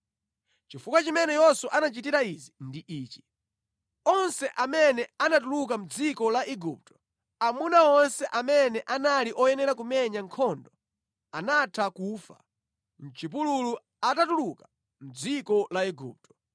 Chifukwa chimene Yoswa anachitira izi ndi ichi: Onse amene anatuluka mʼdziko la Igupto, amuna onse amene anali oyenera kumenya nkhondo anatha kufa mʼchipululu atatuluka mʼdziko la Igupto.